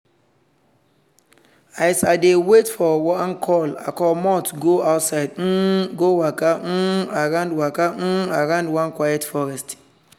as i dey wait for one call i comot go outside um go waka um around waka um around one quiet forest.